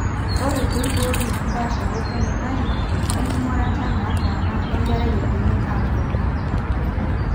Ore peiboori impaasharot enutai, enking'urata nataana enkerai eidimi aatuutu.